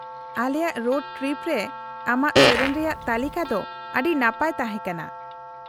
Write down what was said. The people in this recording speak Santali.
-ᱟᱞᱮᱭᱟᱜ ᱨᱳᱰ ᱴᱨᱤᱯ ᱨᱮ ᱟᱢᱟᱜ ᱥᱮᱹᱨᱮᱹᱧ ᱨᱮᱭᱟᱜ ᱛᱟᱹᱞᱤᱠᱟ ᱫᱚ ᱟᱹᱰᱤ ᱱᱟᱯᱟᱭ ᱛᱟᱦᱮᱸ ᱠᱟᱱᱟ ᱾